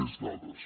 més dades